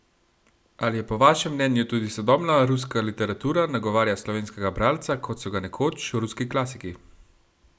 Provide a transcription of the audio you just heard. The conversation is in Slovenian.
Ali je po vašem mnenju tudi sodobna ruska literatura nagovarja slovenskega bralca, kot so ga nekoč ruski klasiki?